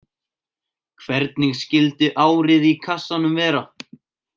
Hvernig skyldi árið í kassanum vera?